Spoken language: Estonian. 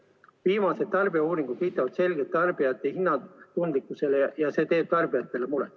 Viimased tarbijauuringud viitavad selgelt tarbijate hinnatundlikkusele ja see teeb muret.